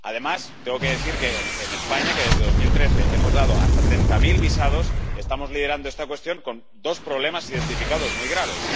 Además, tengo que decir que en España, donde desde 2013 hemos dado hasta treinta mil visados, estamos liderando esta cuestión con dos problemas identificados muy graves.